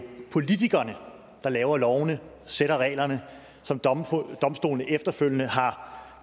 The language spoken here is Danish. politikerne der laver lovene sætter reglerne som domstolene efterfølgende har